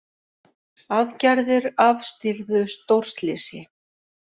Aðgerðir afstýrðu stórslysi